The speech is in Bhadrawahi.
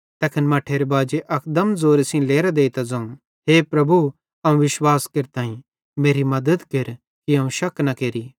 तैस मट्ठेरे बाजे अकदम ज़ोरे सेइं लेरां देइतां ज़ोवं हे प्रभु अवं विश्वास केरतईं मेरी मद्दत केर कि अवं शक न केरि